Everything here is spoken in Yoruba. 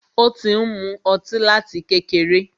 Ó ti ń mú ọtí láti kékeré.